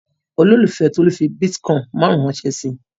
Olólùfẹ́ Tolú fi bítíkọ́ìn márùn-ún ránṣẹ́ sí i.